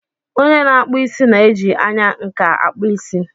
Onye na-akpụ isí na-eji anya nkà akpụ isí.